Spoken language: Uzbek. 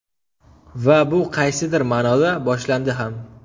Va bu qaysidir ma’noda boshlandi ham.